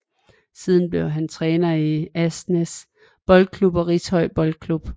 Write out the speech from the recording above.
Siden blev han træner i Asnæs Boldklub og Rishøj Boldklub